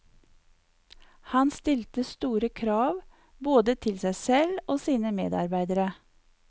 Han stilte store krav både til seg selv og sine medarbeidere.